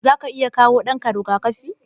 Zaka iya kawo ɗanka riga-kafi?